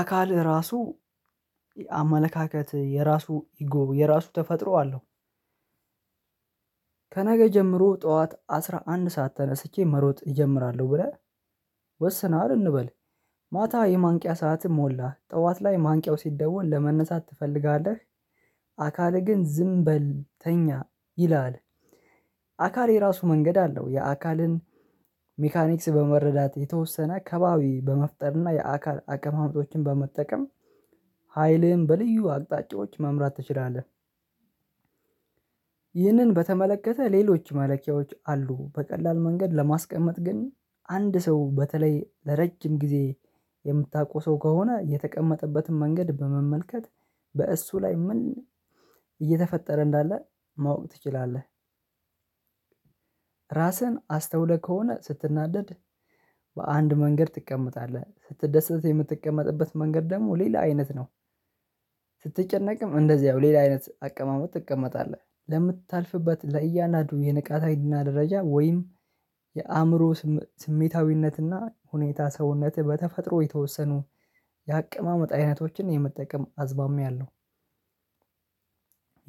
አካልህ ራሱ አመለካከት የራሱ ኢጎ የራሱ ተፈጥሮ አለው። ከነገ ጀምሮ ጠዋት አስራ አንድ ሰዓት ተነስቼ መሮጥ እጀምራለሁ ብለህ ወስነሀል እንበል ማታ የማንቂያ ሰዓትም ሞላ ጠዋት ላይ ማንቂያው ሲደወል ለመነሳት ትፈልጋለህ? አካልህ ግን ዝም በል ተኛ ይልሀል። አካል የራሱ መንገድ አለው የአካልን ሜካኒክስ በመረዳት የተወሰነ ከባቢ በመፍጠርና የአካል አቀማመጦችን በመጠቀም ሀይልህን በልዩ አቅጣጫዎች መምራት ትችላለህ። ይህንን በተመለከተ ሌሎች መለኪያዎች አሉ በቀላል መንገድ ለማስቀመጥ ግን አንድ ሰው በተለይ ለረጅም ጊዜ የምታውቀው ሰው ከሆነ የተቀመጠበትን መንገድ በመመልከት በእሱ ላይ ምን እየተፈጠረ እንዳለ ማወቅ ትችላለህ። ራስህን አስተውለህ ከሆነ ስትናደድ በአንድ መንገድ ትቀመጣለህ ስትደሰት የምትቀመጥበት መንገድ ደግሞ ሌላ አይነት ነው። ስትጨነቅም እንደዚያው ሌላ አይነት አቀማመጥ ትቀመጣለህ ለምታልፍበት ለእያናዱ የንቃት ሀይልና ደረጃ ወይም የአእምሮ ስሜታዊነትና ሁኔታ ሰውነትህ በተፈጥሮ የተወሰኑ የአቀማመጥ አይነቶችን የመጠቀም አዝማሚያ አለው።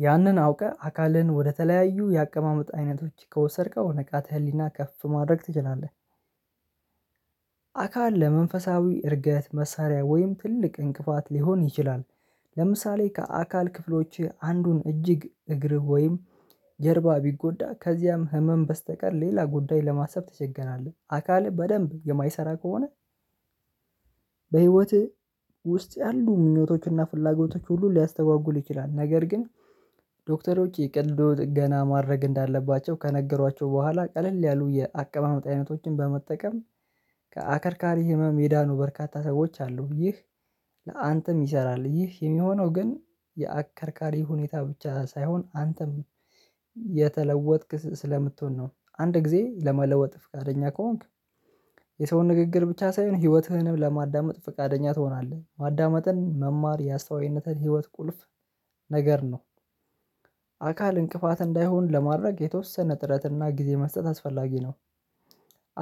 ያንን አውቀህ አካልህን ወደ ተለያዩ የአቀማመጥ አይነቶች ከወሰድከው ንቃተ ህሊናህ ከፍ ማድረግ ትችላለህ። አካል ለመንፈሳዊ እድገት መሳሪያ ወይም ትልቅ እንቅፋት ሊሆን ይችላል። ለምሳሌ ከአካል ክፍሎችህ አንዱን እጅግ እግርህ ወይም ጀርባ ቢጎዳ ከዚያም ህመም በስተቀር ሌላ ጉዳይ ለማሰብ ትቸገራለህ አካልህ በደንብ የማይሰራ ከሆነ። በህይወትህ ውስጥ ያሉ ምኞቶችና ፍላጎቶች ሁሉ ሊያስተጓጉል ይችላል ነገር ግን ዶክተሮች የቀልዶ ጥገና ማድረግ እንዳለባቸው ከነገሯቸው በኋላ ቀለል ያሉ የአቀማመጥ አይነቶችን በመጠቀም ከአከርካሪ ህመም የዳኑ በርካታ ሰዎች አሉ። ይህ ለአንተም ይሰራል ይህ የሚሆነው ግን የአከርካሪ ሁኔታ ብቻ ሳይሆን አንተም የተለወጥክ ስለምትሆን ነው። አንድ ጊዜ ለመለወጥ ፍቃደኛ ከሆንክ የሰውን ንግግር ብቻ ሳይሆን ህይወትህንም ለማዳመጥ ፍቃደኛ ትሆናለህ ማዳመጥን መማር ያስተዋይነትን ህይወት ቁልፍ ነገር ነው። አካል እንቅፋት እንዳይሆን ለማድረግ የተወሰነ ጥረትና ጊዜ መስጠት አስፈላጊ ነው።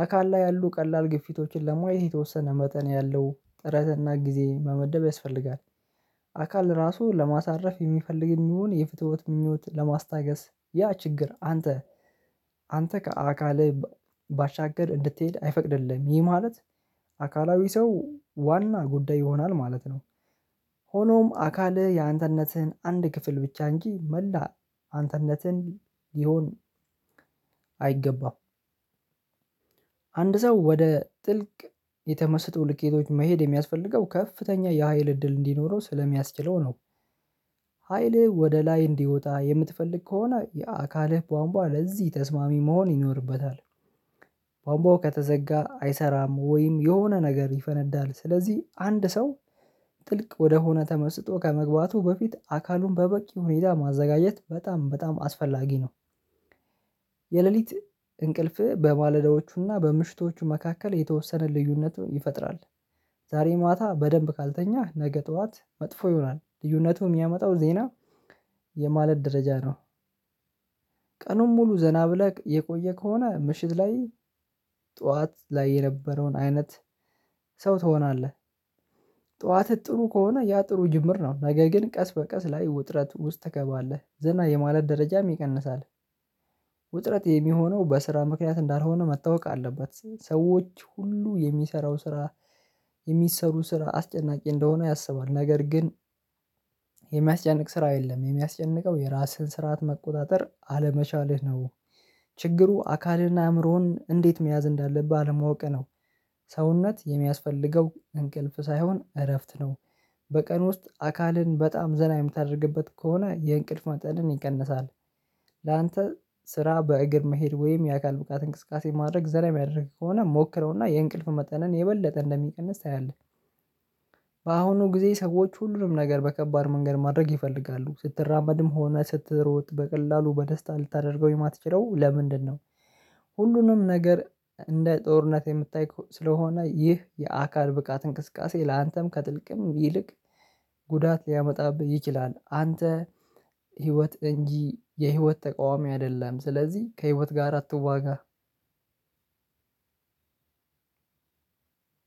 አካል ላይ ያሉ ቀላል ግፊቶችን ለማየት የተወሰነ መጠን ያለው ጥረትና ጊዜ መመደብ ያስፈልጋል። አካል ራሱ ለማሳረፍ የሚፈልግም ይሁን የፍትወት ምኞት ለማስታገስ ያ ችግር አንተ አንተ ከአካልህ ባሻገር እንድትሄድ አይፈቅድልህም ይህ ማለት አካላዊ ሰው ዋና ጉዳይ ይሆናል ማለት ነው። ሆኖም አካልህ ያንተነትህን አንድ ክፍል ብቻ እንጂ መላ አንተነትህን ሊሆን አይገባም። አንድ ሰው ወደ ጥልቅ የተመሰጡ ልኬቶች መሄድ የሚያስፈልገው ከፍተኛ የሀይል እድል እንዲኖረው ስለሚያስችለው ነው። ሀይልህ ወደ ላይ እንዲወጣ የምትፈልግ ከሆነ የአካልህ ቧንቧ ለዚህ ተስማሚ መሆን ይኖርበታል። ቧንቧው ከተዘጋ አይሰራም ወይም የሆነ ነገር ይፈነዳል ስለዚህ አንድ ሰው ጥልቅ ወደሆነ ተመስጦ ከመግባቱ በፊት አካሉን በበቂ ሁኔታ ማዘጋጀት በጣም በጣም አስፈላጊ ነው። የሌሊት እንቅልፍ በማለዳዎቹና በምሽቶቹ መካከል የተወሰነ ልዩነትም ይፈጥራል። ዛሬ ማታ በደንብ ካልተኛህ ነገ ጠዋት መጥፎ ይሆናል ልዩነቱ የሚያመጣው ዜና የማለት ደረጃ ነው። ቀኑን ሙሉ ዘና ብለህ የቆየ ከሆነ ምሽት ላይ ጠዋት ላይ የነበረውን አይነት ሰው ትሆናለህ። ጠዋትህ ጥሩ ከሆነ ያ ጥሩ ጅምር ነው ነገ ግን ቀስ በቀስ ላይ ውጥረት ውስጥ ትገባለህ ዝና የማለት ደረጃም ይቀንሳል። ውጥረት የሚሆነው በስራ ምክንያት እንዳልሆነ መታወቅ አለበት ሰዎች ሁሉ የሚሰራው ስራ የሚሰሩ ስራ አስጨናቂ እንደሆነ ያሰባል ነገር ግን የሚያስጨንቅ ስራ የለም የሚያስጨንቀው የራስን ስርዓት መቆጣጠር አለመቻልህ ነው። ችግሩ አካልህና አእምሮህን እንዴት መያዝ እንዳለብህ አለማወቅህ ነው። ሰውነት የሚያስፈልገው እንቅልፍ ሳይሆን እረፍት ነው። በቀን ውስጥ አካልን በጣም ዘና የምታደርግበት ከሆነ የእንቅልፍ መጠንን ይቀንሳል። ላንተ ስራ በእግር መሄድ ወይም የአካል ብቃት እንቅስቃሴ ማድረግ ዘና የሚያደርግህ ከሆነ ሞክረውና የእንቅልፍ መጠንን የበለጠ እንደሚቀንስ ታያለህ። በአሁኑ ጊዜ ሰዎች ሁሉንም ነገር በከባድ መንገድ ማድረግ ይፈልጋሉ ስትራመድም ሆነ ስትሮጥ በቀላሉ በደስታ ልታደርገው የማትችለው ለምንድነው? ሁሉንም ነገር እንደ ጦርነት የምጠይቀው ስለሆነ ይህ የአካል ብቃት እንቅስቃሴ ላንተም ከጥልቅም ይልቅ ጉዳት ሊያመጣብህ ይችላል። አንተ ህይወት እንጂ የህይወት ተቃዋሚ አይደለህም ስለዚህ ከህይወት ጋር አትዋጋ።